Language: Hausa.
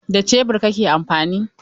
Da Shebur kake amfani?